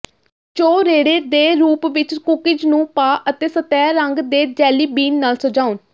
ਚੌਰੇੜੇ ਦੇ ਰੂਪ ਵਿੱਚ ਕੂਕੀਜ਼ ਨੂੰ ਪਾ ਅਤੇ ਸਤਹ ਰੰਗ ਦੇ ਜੈਲੀ ਬੀਨ ਨਾਲ ਸਜਾਉਣ